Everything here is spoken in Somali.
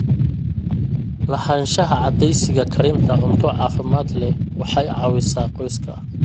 Lahaanshaha caadeysiga karinta cunto caafimaad leh waxay caawisaa qoyska.